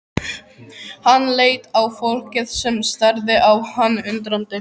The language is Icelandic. Hann leit á fólkið sem starði á hann undrandi.